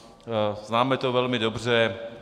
Známe to velmi dobře.